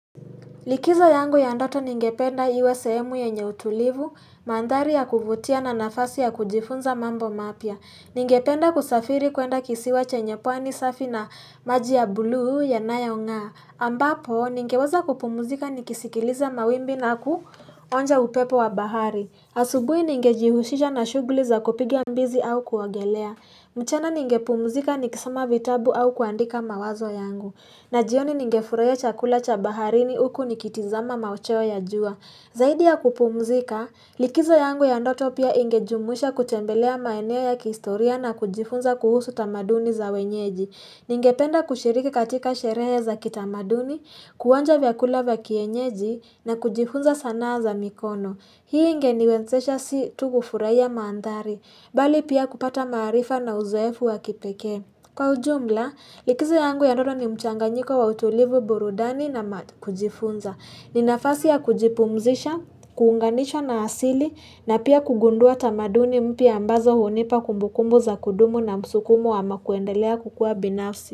Likizo yangu ya ndoto ningependa iwe sehemu yenye utulivu, mandhari ya kuvutia na nafasi ya kujifunza mambo mapya. Ningependa kusafiri kuenda kisiwa chenye pwani safi na maji ya buluu yanayong'aa. Ambapo, ningeweza kupumuzika nikisikiliza mawimbi na kuonja upepo wa bahari. Asubui ningejihusha na shuguli za kupiga mbizi au kuogelea. Mchana ningepumuzika nikisoma vitabu au kuandika mawazo yangu. Na jioni ningefurahia chakula cha baharini huku nikitazama machweo ya jua. Zaidi ya kupumzika, likizo yangu ya ndoto pia ingejumuisha kutembelea maeneo ya kihistoria na kujifunza kuhusu tamaduni za wenyeji. Ningependa kushiriki katika sherehe za kitamaduni, kuonja vyakula vya kienyeji na kujifunza sanaa za mikono. Hii ingeniwezesha si tu kufurahia maandhari, bali pia kupata maarifa na uzoefu wa kipekee. Kwa ujumla, likizo yangu ya ndoto ni mchanganyiko wa utulivu burudani na kujifunza. Ni nafasi ya kujipumzisha, kuunganishwa na asili na pia kugundua tamaduni mpya ambazo hunipa kumbukumbu za kudumu na msukumo ama kuendelea kukua binafsi.